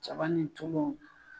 Jaba ni tulu.